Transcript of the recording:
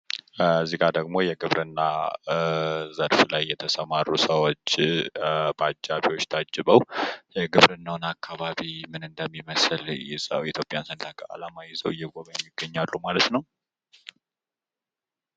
እዚህ ላይ ደግሞ የግብርና ዘርፍ ላይ የተሰማሩ ሰዎች በአጃቢዎች ታጅበው የግብርና አካባቢው ምን እንደሚመስል የኢትዮጵያን ሰንደቅ ዓላማ ይዘው እየጎበኙ ይገኛሉ ማለት ነው።